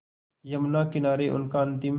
यमुना किनारे उनका अंतिम